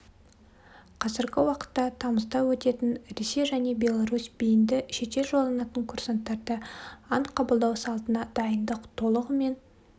қазіргі уақытта тамызда өтетін ресей және беларусь бейінді шетел жолданатын курсанттарды ант қабылдау салтына дайындық толығымен